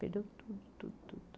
Perdeu tudo, tudo, tudo.